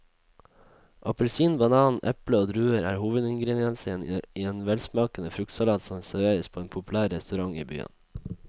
Appelsin, banan, eple og druer er hovedingredienser i en velsmakende fruktsalat som serveres på en populær restaurant i byen.